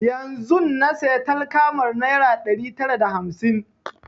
Yanzun na saya takalmar naira ɗari tara da hamsin